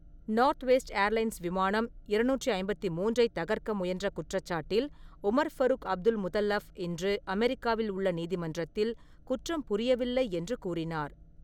Northwest Airlines விமானம் இருநூற்று ஐம்பத்தி மூன்றை தகர்க்க முயன்ற குற்றச்சாட்டில் உமர் ஃபரூக் அப்துல்முதல்லப் இன்று அமெரிக்காவில் உள்ள நீதிமன்றத்தில் 'குற்றம் புரியவில்லை' என்று கூறினார்.